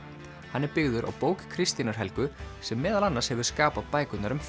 hann er byggður á bók Kristínar Helgu sem meðal annars hefur skapað bækurnar um